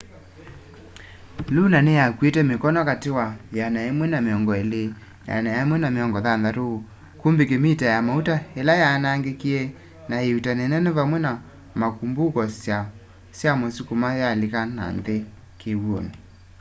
luno niyakuite mikono kati wa 120-160 kubik mita ya mauta ila yaanangikie na iuutani nene vamwe na makumbo syamisukuma yalika nanthi kiw'uni